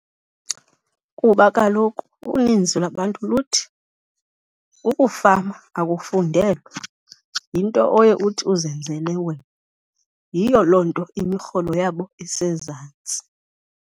Kuba kaloku uninzi lwabantu luthi ukufama akufundelwa, yinto oye uthi uzenzele wena. Yiyo loo nto imirholo yabo isezantsi.